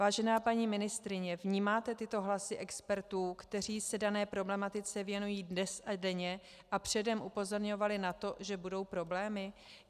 Vážená paní ministryně, vnímáte tyto hlasy expertů, kteří se dané problematice věnují dnes a denně a předem upozorňovali na to, že budou problémy?